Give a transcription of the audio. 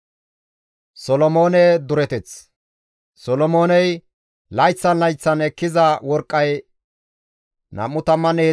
Solomooney layththan layththan ekkiza worqqay 23,000 kilo giraame.